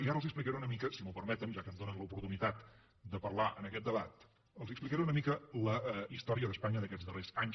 i ara els explicaré una mica si m’ho permeten ja que em donen l’oportunitat de parlar en aquest debat la història d’espanya d’aquests darrers anys